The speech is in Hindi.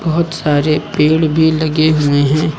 बहोत सारे पेड़ भी लगे हुए हैं।